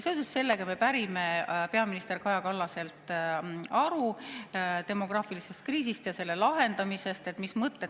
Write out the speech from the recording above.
Seoses sellega me pärime peaminister Kaja Kallaselt aru demograafilise kriisi ja selle lahendamise kohta, et mis mõtted …